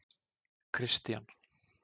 Kristian